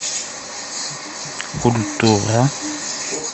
культура